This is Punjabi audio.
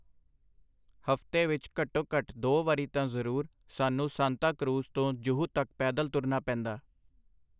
ਹਫਤੇ ਵਿਚ ਘੱਟੋ ਘੱਟ ਦੋ ਵਾਰੀ ਤਾਂ ਜ਼ਰੂਰ ਸਾਨੂੰ ਸਾਂਤਾਂ ਕਰੂਜ਼ ਤੋਂ ਜੂਹੂ ਤਕ ਪੈਦਲ ਤੁਰਨਾ ਪੈਂਦਾ.